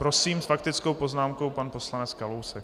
Prosím, s faktickou poznámkou pan poslanec Kalousek.